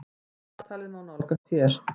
Dagatalið má nálgast hér.